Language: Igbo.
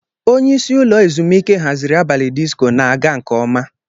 Onye isi ụlọ ezumike haziri abalị disko na-aga nke ọma.